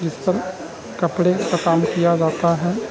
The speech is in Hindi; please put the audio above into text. इस पर कपड़े का काम किया जाता है।